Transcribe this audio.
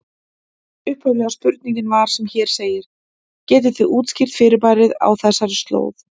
Upphaflega spurningin var sem hér segir: Getið þið útskýrt fyrirbærið á þessari slóð?